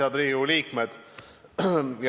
Head Riigikogu liikmed!